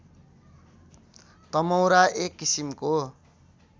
तमौरा एक किसिमको